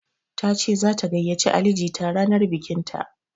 Tace zata gayyace Ali jita ranar bikinta.